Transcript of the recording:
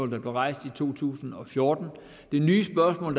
der blev rejst i to tusind og fjorten det nye spørgsmål